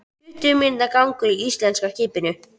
Tuttugu mínútna gangur að íslenska skipinu.